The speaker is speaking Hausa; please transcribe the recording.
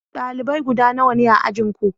dalibai guda nawa ne a ajin Ku?